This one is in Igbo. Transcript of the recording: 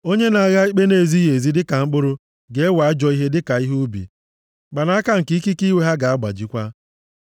Onye na-agha ikpe na-ezighị ezi dịka mkpụrụ, ga-ewe ajọ ihe dịka ihe ubi, mkpanaka nke ikike iwe ha ga-agbajikwa.